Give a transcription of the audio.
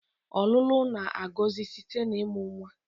ọlụlụ na-agọzi site na ịmụ nwa